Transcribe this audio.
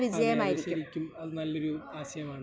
അതെ. അത് ശരിക്കും അത് നല്ലൊരു ആശയമാണ് .